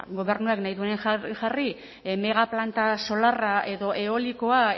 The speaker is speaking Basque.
gobernuak nahi duenean jarri megaplanta solarra edo eolikoa